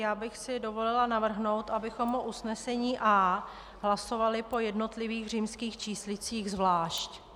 Já bych si dovolila navrhnout, abychom o usnesení A hlasovali po jednotlivých římských číslicích zvlášť.